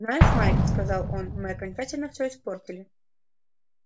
знаешь майк сказал он мы окончательно все испортили